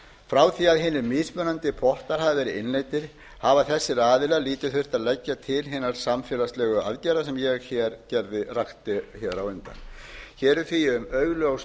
frá því að hinir mismunandi boðnar hafa verið innleiddir hafa þessir aðilar að vísu þurft að leggja til hina samfélagslegu aðgerða sem ég rakti á undan hér er því um augljóst